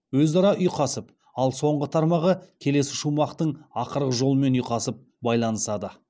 өзара ұйқасып ал соңғы тармағы келесі шумақтың ақырғы жолымен ұйқасып байланысады